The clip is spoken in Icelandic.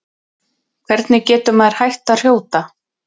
hvernig getur maður hætt að hrjóta